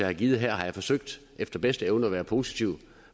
har givet her har jeg forsøgt efter bedste evne at være positiv